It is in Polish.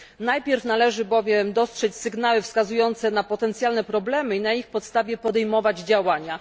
Najpierw należy bowiem dostrzec pewne sygnały wskazujące na potencjalne problemy i na ich podstawie podejmować działania.